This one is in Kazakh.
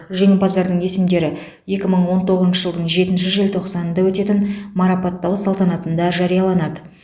жеңімпаздардың есімдері екі мың он тоғызыншы жылдың жетінші желтоқсанында өтетін марапаттау салтанатында жарияланады